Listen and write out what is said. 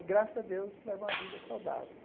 E, graças a Deus, levo uma vida saudável.